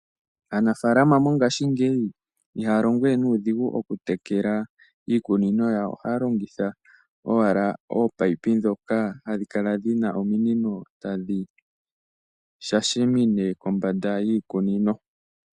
Aanafaalama mongashingeyi ihaya longo we nuudhigu okutekela iikunino yawo. Ohaya longitha owala oopayipi ndhoka hadhi kala dhi na ominino tadhi shashamine kombanda yiikunino.